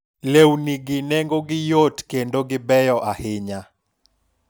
lewni gi nengo gi yot kendo gi beyo ahinya